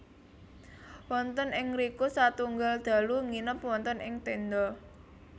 Wonten ing ngriku setunggal dalu nginep wonten ing tenda